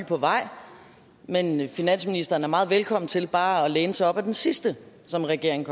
på vej men finansministeren er meget velkommen til bare at læne sig op ad den sidste som regeringen